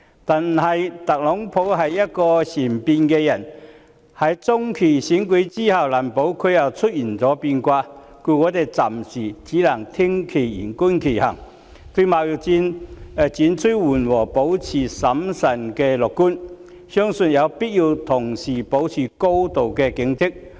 但是，特朗普是善變的人，在中期選舉過後，難保又再出現變卦，故我們暫時只能聽其言，觀其行，對貿易戰轉趨緩和保持審慎樂觀，相信有必要同時保持高度警戒。